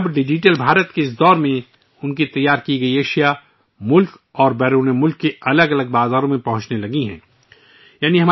لیکن اب digital India کے اس دور میں ان کی بنائی ہوئی مصنوعات ملک اور دنیا کے مختلف بازاروں میں پہنچنا شروع ہو گئی ہیں